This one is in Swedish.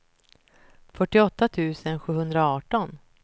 fyrtioåtta tusen sjuhundraarton